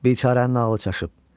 Biçarənin ağlı çaşıb.